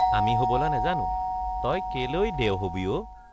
আমি হবলা নেজানো তই কেলেই দেও হবি অ?